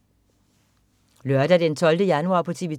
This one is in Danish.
Lørdag den 12. januar - TV 2: